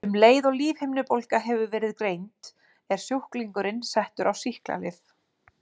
Um leið og lífhimnubólga hefur verið greind er sjúklingurinn settur á sýklalyf.